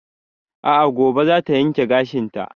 A'a gobe za ta yanke gashin ta